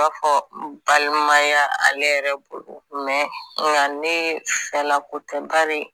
I b'a fɔ balimaya ale yɛrɛ bolo nka ne fɛlako tɛ bari